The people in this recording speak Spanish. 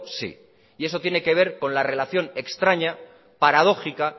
sí y eso tiene que ver con la relación extraña paradójica